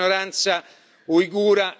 uigura in Cina.